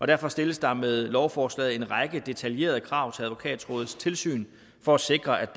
derfor stilles der med lovforslaget en række detaljerede krav til advokatrådets tilsyn for at sikre